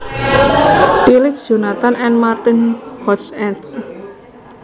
Phillips Jonathan and Martin Hoch eds